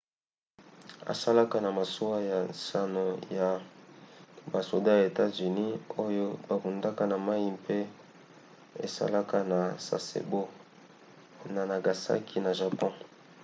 asalaka na masuwa ya nsambo ya basoda ya etats-unis oyo babundaka na mai mpe esalaka na sasebo na nagasaki na japon